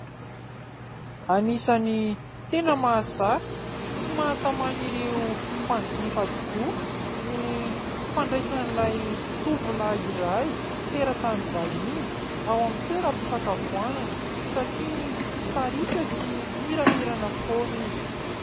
Anisan'ny tena mahasarika sy mahatamana ireo mpanjifa tokoa ny fandraisan'ilay tovolahy iray teratany vahiny ao amin'ny toeram-pisakafoanan satria sariaka sy miramirana foana izy.